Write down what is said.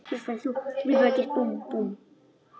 Hún gekk fram.